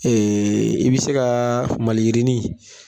i bɛ se ka maliyirinin